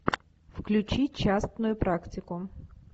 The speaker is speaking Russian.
включи частную практику